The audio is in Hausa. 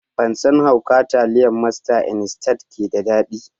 Ban san hauka taliyar masta instant ke da daɗi